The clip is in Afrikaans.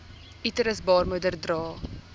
uterus baarmoeder dra